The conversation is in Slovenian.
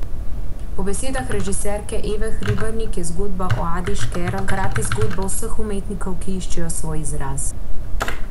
Po besedah režiserke Eve Hribernik je zgodba o Adi Škerl hkrati zgodba vseh umetnikov, ki iščejo svoj izraz.